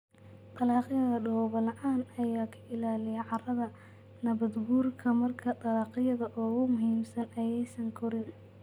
Dalagyada daboolan ayaa ka ilaaliya carrada nabaadguurka marka dalagyada ugu muhiimsan aysan korin.